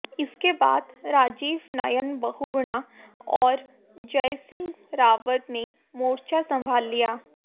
इसके बाद राजीव नयन बहुगुणा और जयसिंह रावत ने मोर्चा संभाल लिया